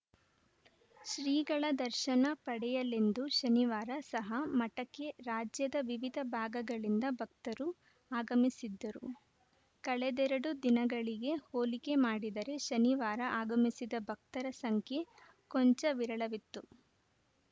ಶ್ರೀಗಳ ದರ್ಶನ ಪಡೆಯಲೆಂದು ಶನಿವಾರ ಸಹ ಮಠಕ್ಕೆ ರಾಜ್ಯದ ವಿವಿಧ ಭಾಗಗಳಿಂದ ಭಕ್ತರು ಆಗಮಿಸಿದ್ದರು ಕಳೆದೆರಡು ದಿನಗಳಿಗೆ ಹೋಲಿಕೆ ಮಾಡಿದರೆ ಶನಿವಾರ ಆಗಮಿಸಿದ ಭಕ್ತರ ಸಂಖ್ಯೆ ಕೊಂಚ ವಿರಳವಿತ್ತು